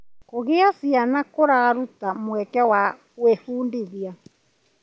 Kũgĩa ciana kũraruta mweke wa gwĩbundithia.